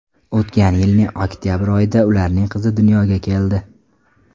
O‘tgan yilning oktabr oyida ularning qizi dunyoga keldi.